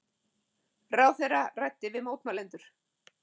Ráðherra ræddi við mótmælendur